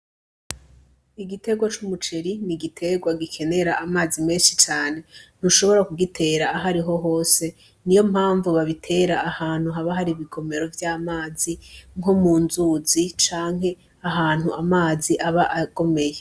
Igitegwa c'umuceri ni igitegwa gikenera amazi menshi cane ntushobora kugitera ahariho hose niyo mpamvu babitera ahantu haba hari ibigomero vy' amazi nko mu nzuzi canke ahantu amazi aba agomeye.